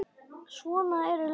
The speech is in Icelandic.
Svona eru lögin.